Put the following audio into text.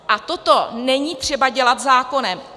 A toto není třeba dělat zákonem.